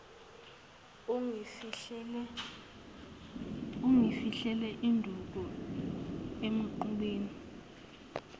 ungifihlele induku emqubeni